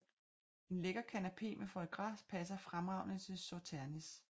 En lækker canapé med foie gras passer fremragende til Sauternes